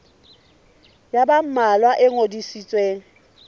ya ba mmalwa e ngodisitsweng